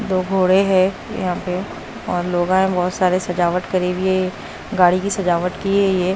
दो घोड़े हैं यहां पे और लोगां है बहोत सारे सजावट करी हुई है ये गाड़ी की सजावट की है ये।